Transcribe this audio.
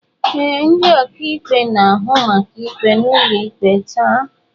Ee, ndị ọkaikpe na-ahụ maka ikpe ụlọikpe taa.